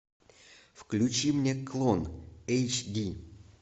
включи мне клон эйч ди